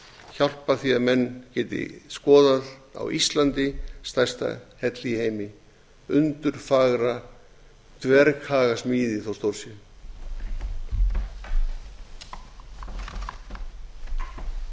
hjálpa því að menn geti skoðað á íslandi stærsta helli í heimi undurfagra dverghagasmíði þó stór sé